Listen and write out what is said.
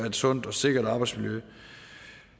et sundt og sikkert arbejdsmiljø